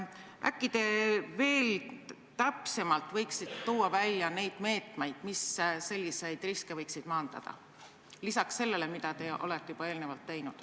Äkki te võiksite täpsemalt välja tuua need meetmed, mis selliseid riske võiksid maandada, lisaks sellele, mida te juba eelnevalt olete teinud.